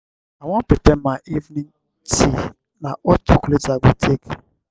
i wan prepare my evening tea na hot chocolate i go take.